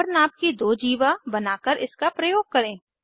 बराबर नाप की दो जीवा बनाकर इसका प्रयोग करें